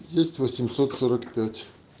есть